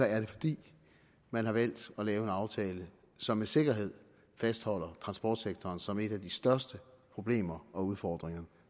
er det fordi man har valgt at lave en aftale som med sikkerhed fastholder transportsektoren som et af de største problemer og udfordringer